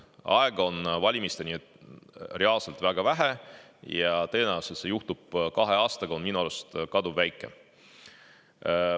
Aega on valimisteni reaalselt väga vähe ja tõenäosus, et see juhtub kahe aastaga, on minu arust kaduvväike.